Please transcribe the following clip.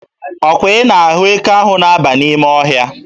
Ọkwa ị na-ahụ eke ahụ na-aba n'ime ọhịa?